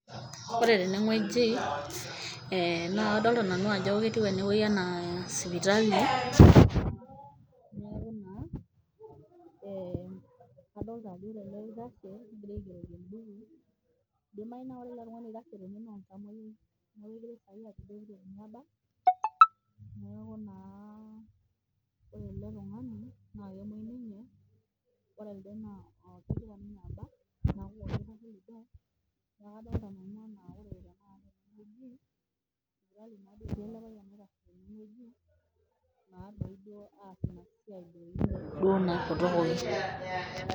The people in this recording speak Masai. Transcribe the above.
Oore teene wueji, naakadoolta nanu aajo ketiu eene wueji enaa sipitali, kaadolta aajo ore ele oitashe ogirae aigeroki embuku, eidimau naa ore ele tung'ani oitashe teene naa oltamueyiai, niaku naa oore eele tung'ani naa kemuei ninye ore elde naa kegira ninye abak.